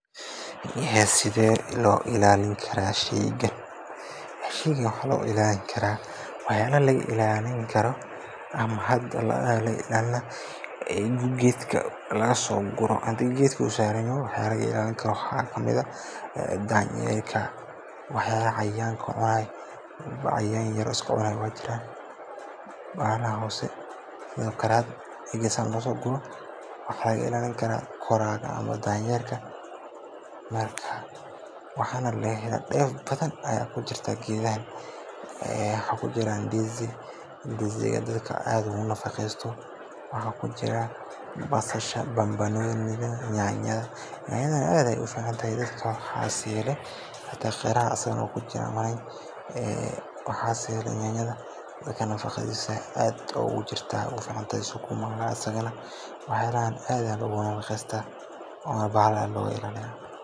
Sheygan sida loo ilaalin karo waxaa kamid ah dhowrista nadaafadda iyo in si taxadar leh loo kaydiyo. Waxyaalaha laga ilaalin karo ama geedka laga soo guro ama uu saaran yahay waxaa kamid ah cayaanka, koraaraha iyo danyeerka oo mararka qaar waxyeello u geysta. Waxaa muhiim ah in geedka laga ilaaliyo xoolaha daaqaya iyo cayayaanka waxyeellada leh si uu si fiican u baxo una soo saaro miro tayo leh. Sidoo kale, waxaa la isticmaalaa marooyin ama shabag lagu daboolo si sheyga looga ilaaliyo wax kasta oo dhaawac gaarsiin kara.